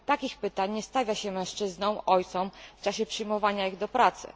Takich pytań nie stawia się mężczyznom, ojcom w czasie przyjmowania ich do pracy.